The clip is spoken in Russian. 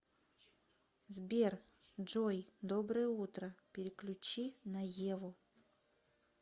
сбер джой доброе утро переключи на еву